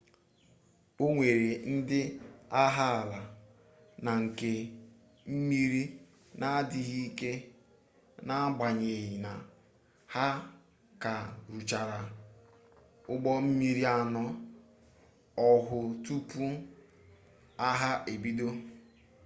o nwere ndị agha ala na nke mmiri n'adịghị ike n'agbanyeghi na ha ka rụchara ụgbọmmiri anọ ọhụụ tupu agha ebido